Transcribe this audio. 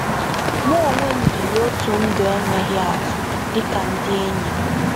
Mụ onwe m biri otu ndụ enweghị atụ dịka ndị enyi m.